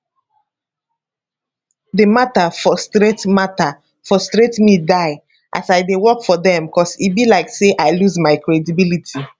di mata frustrate mata frustrate me die as i dey work for dem cos e be like say i lose my credibility